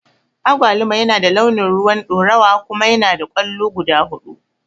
Agwaluma yana da launin rowan ɗorawa kuma yanada kwallo guda huɗu.